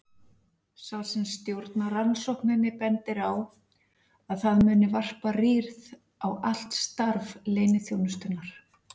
Sá sem stjórnar rannsókninni bendir á að það muni varpa rýrð á allt starf leyniþjónustunnar.